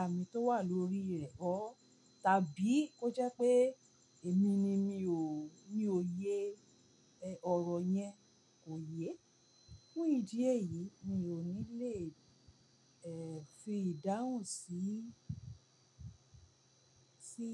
àmì tó wà lórí rẹ ọ, tàbí ó jẹ́ pé èmi ni mi ò, mi ò yé, ọ̀rọ̀ yẹn kò yé. Ní ìdí èyí, mi ò ní lè fi ìdáhùn síí, sí